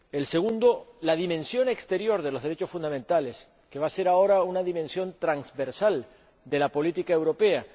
El segundo, la dimensión exterior de los derechos fundamentales, que va a ser ahora una dimensión transversal de la política europea.